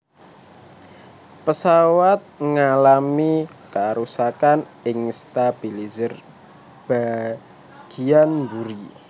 Pesawat mengalami kerusakan ing stabilizer bagiyan mburi